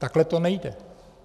Takhle to nejde.